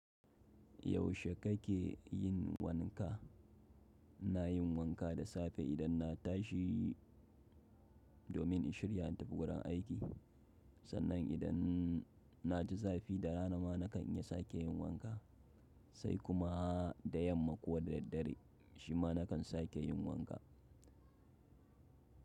Yaushe kake yin wanka? Ina yin wanka da safe idan na tashi domin in shirya in tafi wurin aiki. Sannan idan na ji zafi, da rana ma na kan iya sake yin wanka. Sai kuma da yamma ko da daddare shi ma na kan sake yin wanka.